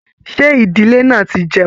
Ṣe ìdílé náà tí jẹun?